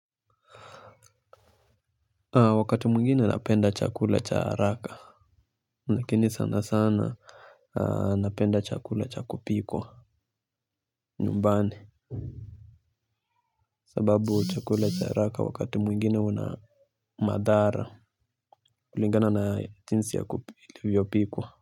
Wakati mwingine napenda chakula cha haraka. Lakini sana sana napenda chakula cha kupikwa nyumbani sababu chakula cha haraka wakati mwingine una madhara kulingana na jinsi ilivyopikwa.